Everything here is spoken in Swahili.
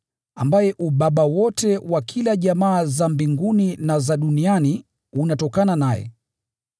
ambaye ubaba wote wa kila jamaa za mbinguni na za duniani unatokana naye.